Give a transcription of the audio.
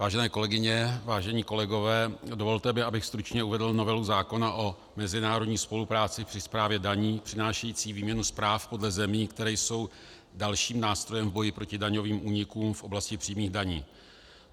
Vážené kolegyně, vážení kolegové, dovolte mi, abych stručně uvedl novelu zákona o mezinárodní spolupráci při správě daní přinášející výměnu zpráv podle zemí, které jsou dalším nástrojem v boji proti daňovým únikům v oblasti přímých daní.